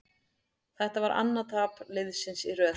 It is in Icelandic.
Þetta var annað tap liðsins í röð.